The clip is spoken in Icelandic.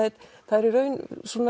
er í raun